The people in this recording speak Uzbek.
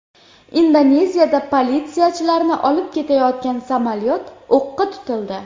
Indoneziyada politsiyachilarni olib ketayotgan samolyot o‘qqa tutildi.